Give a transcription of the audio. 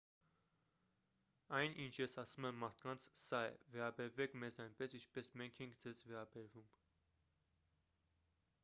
այն ինչ ես ասում եմ մարդկանց սա է վերաբերվեք մեզ այնպես ինչպես մենք ենք ձեզ վերաբերվում